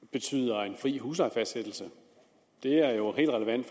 betyder en fri huslejefastsættelse det er jo helt relevant